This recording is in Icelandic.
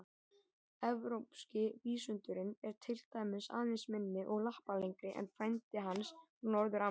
Evrópski vísundurinn er til dæmis aðeins minni og lappalengri en frændi hans frá Norður-Ameríku.